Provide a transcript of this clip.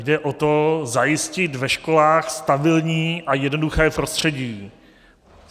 Jde o to zajistit ve školách stabilní a jednoduché prostředí.